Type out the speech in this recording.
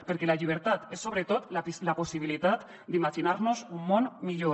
perquè la llibertat és sobretot la possibilitat d’imaginar nos un món millor